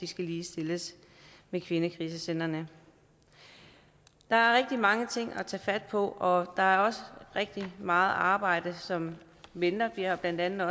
skal ligestilles med kvindekrisecentrene der er rigtig mange ting at tage fat på og der er også rigtig meget arbejde som venter blandt andet